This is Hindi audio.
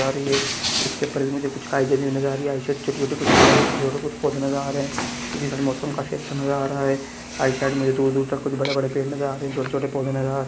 इसके ऊपर मुझे कुछ काई जमी हुई नज़र आ रही है छोटे-छोटे कुछ पेड़ छोटे-छोटे कुछ पौधे नज़र आ रहे है इसे मौसम काफी अच्छा नज़र आ रहा है आइड साइड मुझे दूर-दूर तक कुछ बड़े-बड़े पेड़ नज़र आ रहे है छोटे-छोटे पौधे नज़र आ रहे है।